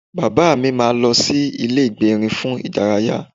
Bàbá mi máa lọ sí ilé ìgbérin fún ìdárayá